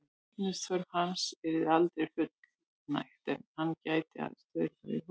Súrefnisþörf hans yrði aldrei fullnægt er hann gæti aðeins stuðst við húðöndun.